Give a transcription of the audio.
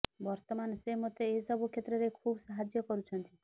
ବର୍ତ୍ତମାନ ସେ ମୋତେ ଏହି ସବୁ କ୍ଷେତ୍ରରେ ଖୁବ୍ ସାହାଯ୍ୟ କରୁଛନ୍ତି